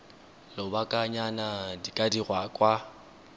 lobakanyana di ka dirwa kwa